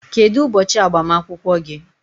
Kedu ụbọchị agbamakwụkwọ gị?